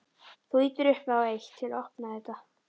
Þú ýtir upp á eitt. til að opna þetta.